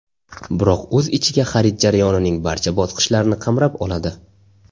Biroq o‘z ichiga xarid jarayonining barcha bosqichlarini qamrab oladi.